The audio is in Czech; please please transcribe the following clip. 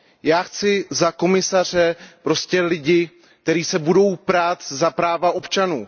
Já chci za komisaře prostě lidi, kteří se budou prát za práva občanů.